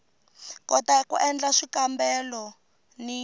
kota ku endla swikambelo ni